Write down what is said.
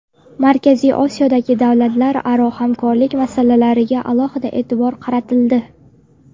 Markaziy Osiyodagi davlatlararo hamkorlik masalalariga alohida e’tibor qaratildi.